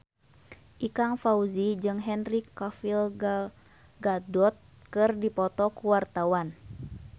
Ikang Fawzi jeung Henry Cavill Gal Gadot keur dipoto ku wartawan